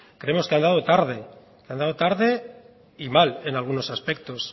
creemos que ha andado tarde tarde y mal en algunos aspectos